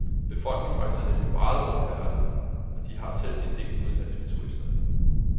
Befolkningen rejser nemlig meget rundt i verden, og de har selv en del udenlandske turister.